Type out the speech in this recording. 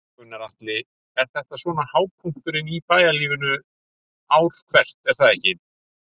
Gunnar Atli: Þetta er svona hápunkturinn í bæjarlífinu ár hvert er það ekki?